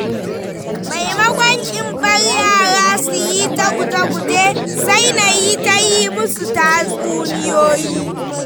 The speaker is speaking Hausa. Maimakon in bar yara su yi ta guje-guje, sai nayi ta yi musu tatsuniyoyi.